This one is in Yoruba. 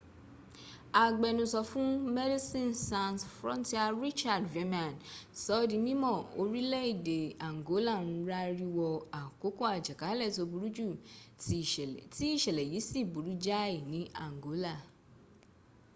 agbẹnusọ fún medecines sans frontiere richard veerman sọọ́ di mímọ̀ orílẹ̀èdè angola ń rárí wọ àkókò àjàkálẹ̀ tó burú jù tí ìṣẹ̀lẹ̀ yìí sì burú jáì ní angol